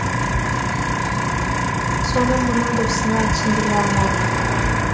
соны мына досыңа түсіндіре алмадым